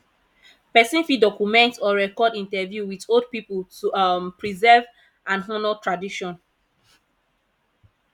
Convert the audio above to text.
person fit document or record interview with old pipo to um preserve and honor tradition